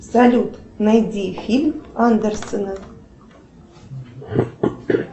салют найди фильм андерсона